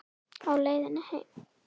Á leiðinni heim?